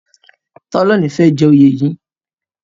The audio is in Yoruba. Tola o ní fè jé oyè yí.